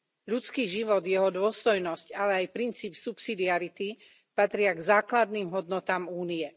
Ľudský život, jeho dôstojnosť, ale aj princíp subsidiarity patria k základným hodnotám Únie.